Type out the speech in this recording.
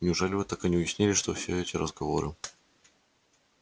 неужели вы так и не уяснили что все эти разговоры